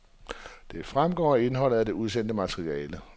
Det fremgår af indholdet af det udsendte materiale.